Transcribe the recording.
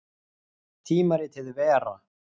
Tímaritið Vera.